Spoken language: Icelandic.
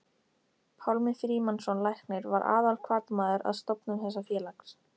Pálmi Frímannsson læknir var aðalhvatamaður að stofnun þessa félags.